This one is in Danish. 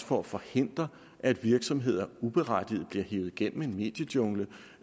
for at forhindre at virksomheder uberettiget bliver hevet gennem en mediejungle